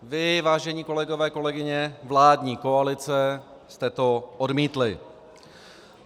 Vy, vážení kolegové, kolegyně vládní koalice, jste to odmítli.